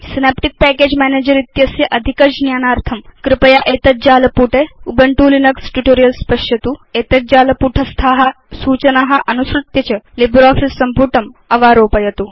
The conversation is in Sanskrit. सिनेप्टिक् पैकेज मैनेजर इत्यस्य अधिक ज्ञानार्थं कृपया एतद् जालपुटे उबुन्तु लिनक्स ट्यूटोरियल्स् पश्यतु एतज्जालपुटस्था अनुसृत्य च लिब्रियोफिस सम्पुटम् अवारोपयतु